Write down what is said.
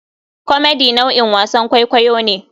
Comedy nau'in wasan kwaikwayo ne.